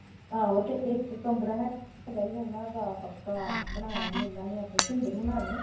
ਆਹੋ ਤੇ ਇੱਕ ਕਮਰਾ ਹੈਗਾ ਸੀ ਉਹਨਾਂ ਦਾ ਪੱਕਾ ਬਣਾਇਆ ਸੀ ਇਹਨਾਂ ਨੇ ਆਪੇ ਸਿੰਦਰ ਹੋਣਾਂ ਨੇ।